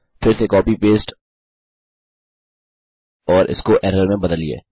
फिर से copy paste और इसको एरर में बदलिए